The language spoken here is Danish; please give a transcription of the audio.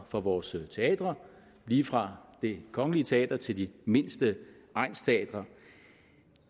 for vores teatre lige fra det kongelige teater til de mindste egnsteatre